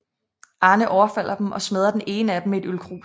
Arne overfalder dem og smadrer den ene af dem med et ølkrus